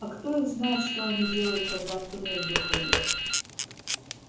а кто их знает что они делают когда в туннель выходят